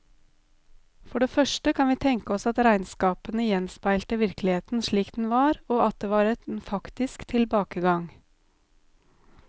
For det første kan vi tenke oss at regnskapene gjenspeilte virkeligheten slik den var, og at det var en faktisk tilbakegang.